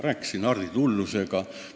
Rääkisin Hardi Tullusega.